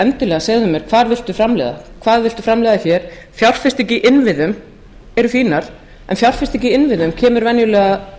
endilega segðu mér hvað viltu framleiða hvað viltu framleiða hér fjárfestingar í innviðum eru fínar en fjárfesting í innviðum kemur venjulega